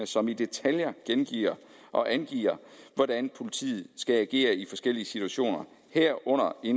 som i detaljer gengiver og angiver hvordan politiet skal agere i de forskellige situationer herunder i